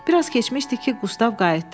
Biraz keçmişdi ki, Qustav qayıtdı.